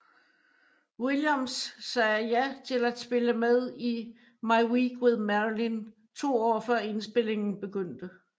Williams sagde ja til at spille med i My Week with Marilyn to år før indspilningen begyndte